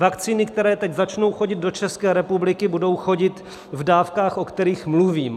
Vakcíny, které teď začnou chodit do České republiky, budou chodit v dávkách, o kterých mluvím.